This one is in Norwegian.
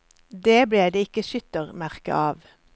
Det ble det ikke skyttermerke av.